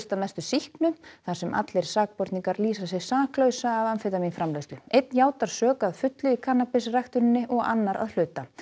að mestu sýknu þar sem allir sakborningar lýsa sig saklausa af einn játar sök að fullu í og annar að hluta